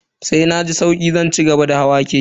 Sai na ji sauki zan cigaba da hawa keke.